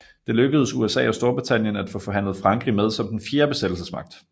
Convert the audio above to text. Det lykkedes USA og Storbritannien at få forhandlet Frankrig med som den fjerde besættelsesmagt